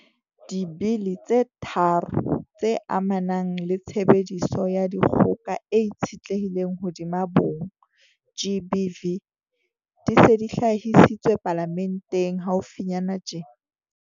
Dibili tse tharo tse amanang le tshebediso ya dikgoka e itshetlehileng hodima bong, GBV, di se di hlahisitswe Palamenteng haufinyana tjena.